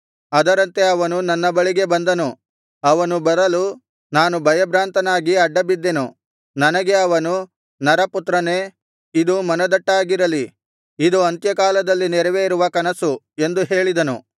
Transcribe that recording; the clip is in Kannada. ಅದರಂತೆ ಅವನು ನನ್ನ ಬಳಿಗೆ ಬಂದನು ಅವನು ಬರಲು ನಾನು ಭಯಭ್ರಾಂತನಾಗಿ ಅಡ್ಡಬಿದ್ದೆನು ನನಗೆ ಅವನು ನರಪುತ್ರನೇ ಇದು ಮನದಟ್ಟಾಗಿರಲಿ ಇದು ಅಂತ್ಯಕಾಲದಲ್ಲಿ ನೆರವೇರುವ ಕನಸು ಎಂದು ಹೇಳಿದನು